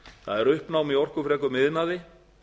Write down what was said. það er uppnám í orkufrekum iðnaði